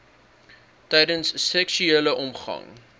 tydens seksuele omgang